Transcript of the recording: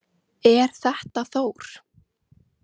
Er þetta Þór?